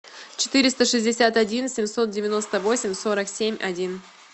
четыреста шестьдесят один семьсот девяносто восемь сорок семь один